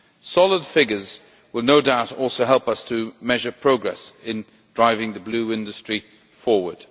Solid figures will no doubt also help us to measure progress in driving the Blue Industry forward.